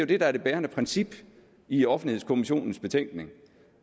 det der er det bærende princip i offentlighedskommissionens betænkning